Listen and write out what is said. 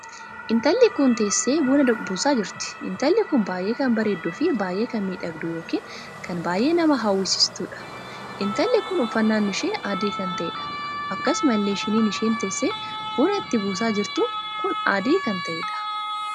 Intalli kun teessee buna buusaa jirti. Intalli kun baay'ee kan bareeduu fi baay'ee kan miidhagduu ykn kan baay'ee nama hawwisiiftuudha. intalli kun uffannaan ishee adii kan taheedha. Akkasumallee shiniin isheen teessee buna itti buusaa jirtu kun adii kan taheedha.